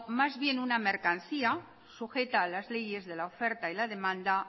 más bien una mercancía sujeta a las leyes de la oferta y la demanda